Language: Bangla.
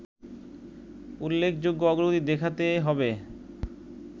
উল্লেখযোগ্য অগ্রগতি দেখাতে হবে